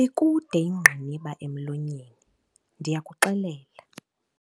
Ikude ingqiniba emlonyeni, ndiyakuxelela.